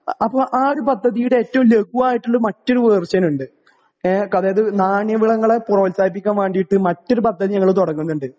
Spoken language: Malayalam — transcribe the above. അപ്പോ ആ ഒരു പദ്ധതിയുടെ വളരെ ലഘുവായിട്ടുള്ള മറ്റൊരു വേർഷൻ ഉണ്ട് . നാണ്യ വിളകളെ പ്രോത്സാഹിപ്പിക്കാൻ വേണ്ടിയിട്ട് നമ്മൾ മറ്റു വിളകൾ തുടങ്ങുന്നുണ്ട്